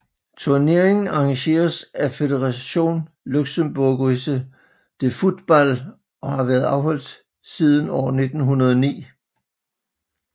Turneringen arrangeres af Fédération Luxembourgoise de Football og har været afholdt siden år 1909